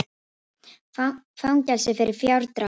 Fangelsi fyrir fjárdrátt